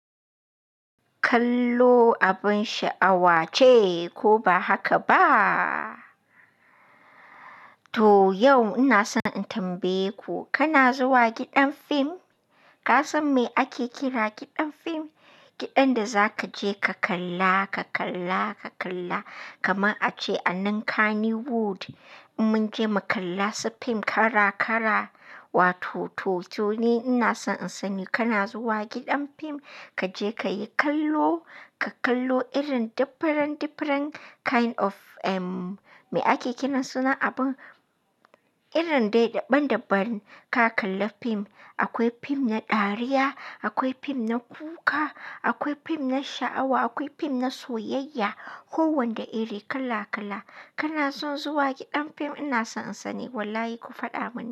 Kallo abin sha'awa ce, ko ba haka ba? To yau ina so in tambaye ku, kana zuwa gidan fim? Ka san me ake kira gidan fim? Gidan da za ka je ka kalla, ka kalla, ka kalla kamar a ce anan Kannywood. In mun je mu kalla su fim kala-kala, wato to, to ne ina so in sani kana zuwa gidan fim? Ka je ka yi kallo, ka kallo irin diffiren, diffiren kind of me ake kiran sunan abun, irin dai daban-daban ka kalla fim. Akwai fim na dariya, akwai fim na kuka, akwai fim na sha'awa, akwai fim na soyayya. Ko wanda iri kala, kala. Kana son zuwa gidan fim? Ina son in sani. Wallahi ku faɗa mani.